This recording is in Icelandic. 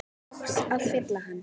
skáps að fylla hann.